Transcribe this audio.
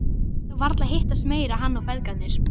Þeir myndu þá varla hittast meira, hann og feðgarnir.